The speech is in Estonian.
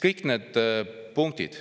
Kõik need punktid,